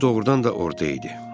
Cim doğrudan da orada idi.